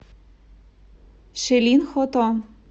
шилин хото